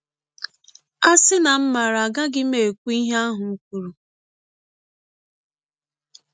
‘ A sị na m maara agaraghị m m ekwụ ihe ahụ m kwụrụ! ’